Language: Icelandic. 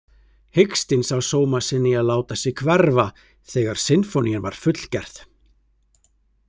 Hikstinn sá sóma sinn í að láta sig hverfa þegar sinfónían var fullgerð.